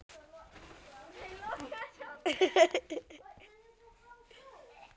Hvar er þá Haukur?